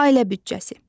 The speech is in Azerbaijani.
Ailə büdcəsi.